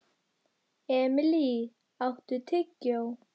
Emilý, áttu tyggjó?